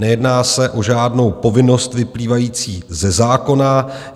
Nejedná se o žádnou povinnost vyplývající ze zákona.